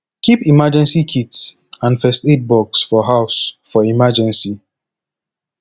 keep emergency kits and first aid box for house for emergency